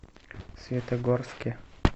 светогорске